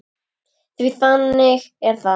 Því að þannig er það!